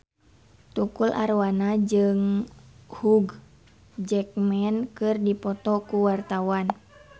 Tukul Arwana jeung Hugh Jackman keur dipoto ku wartawan